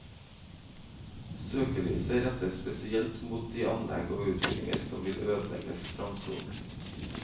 Søkelyset rettes spesielt mot de anlegg og utfyllinger som vil ødelegge strandsonen.